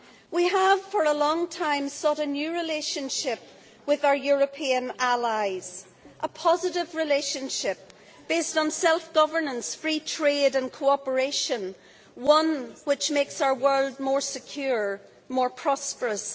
We have for a long time sought a new relationship with our European allies, a positive relationship based on self governance, free trade and cooperation, one which makes our world more secure and more prosperous.